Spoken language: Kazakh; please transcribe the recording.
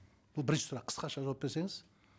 бұл бірінші сұрақ қысқаша жауап берсеңіз